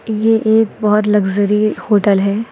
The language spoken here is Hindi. यह एक बहुत लग्जरी होटल है।